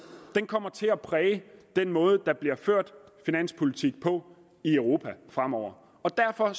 kommer til at præge den måde der bliver ført finanspolitik på i europa fremover og derfor